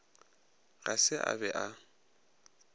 ga se a be a